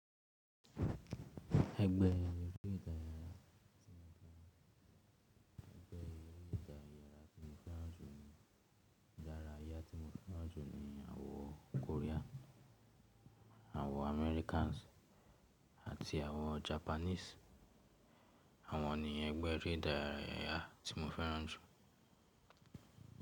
Ẹgbẹ́ eré ìdárayá tí mo fẹ́ràn jù ní idárayá tí mo fẹ́ràn jù ni àwọn Korea, àwọn Americans àti àwọn Japanese. Àwọn ni ẹgbẹ́ eré ìdárayá tí mo fẹ́ràn jù.